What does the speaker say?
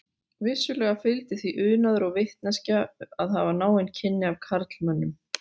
Vissulega fylgdi því unaður og vitneskja að hafa náin kynni af karlmönnum.